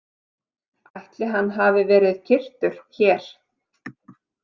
Ætli hann hafi verið kyrktur hér?